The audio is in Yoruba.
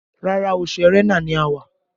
Rárá, oṣù Ẹrẹ́nà ni a wà